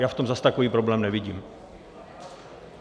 Já v tom zase takový problém nevím.